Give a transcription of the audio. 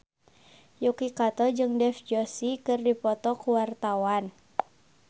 Yuki Kato jeung Dev Joshi keur dipoto ku wartawan